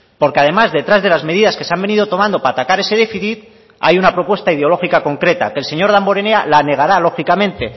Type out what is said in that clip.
porque además detrás de las medidas que se han venido tomando para atacar ese déficit hay una propuesta ideológica concreta que el señor damborenea la negará lógicamente